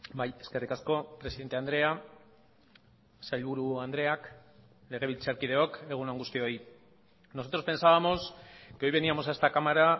bai eskerrik asko presidente andrea sailburu andreak legebiltzarkideok egun on guztioi nosotros pensábamos que hoy veníamos a esta cámara